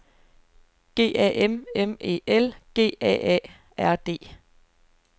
G A M M E L G A A R D